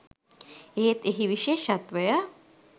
එහෙත් එහි විශේෂත්වය